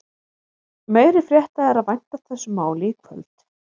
Meiri frétta er að vænta af þessu máli í kvöld.